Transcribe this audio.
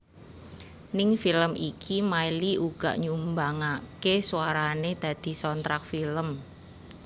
Ning film iki Miley uga nyumbangaké suarané dadi soundtrack film